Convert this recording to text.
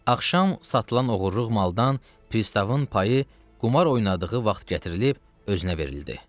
Axşam satılan oğurluq maldan pristavın payı qumar oynadığı vaxt gətirilib özünə verildi.